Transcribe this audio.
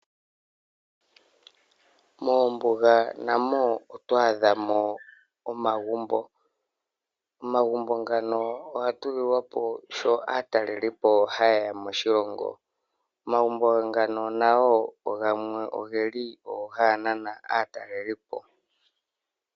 Mombuga namo oto adha mo omagumbo. Omagumbo ngano oga tulilwapo sho aatalelipo ha ye ya moshilongo. Omagumbo ngano nago ogeli woo haga nana aatalelipo.